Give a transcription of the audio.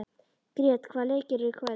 Grét, hvaða leikir eru í kvöld?